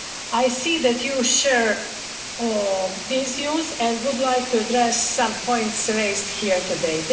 I see that you share these views and would like to address some points raised here today.